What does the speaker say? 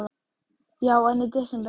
Heimir Már: Já, en í desember?